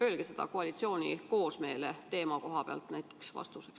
Öelge seda näiteks koalitsiooni koosmeele teemaga seoses vastuseks.